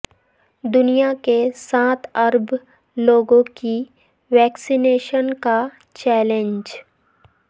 دنیا کے سات ارب لوگوں کی ویکسینیشن کا چیلینج